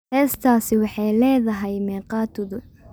heestaasi waxay leedahay meeqa tuduc?